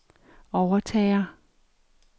overtager